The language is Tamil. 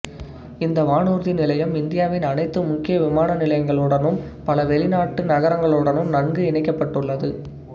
இந்த வானூர்தி நிலையம் இந்தியாவின் அனைத்து முக்கிய விமான நிலையங்களுடனும் பல வெளிநாட்டு நகரங்களுடனும் நன்கு இணைக்கப்பட்டுள்ளது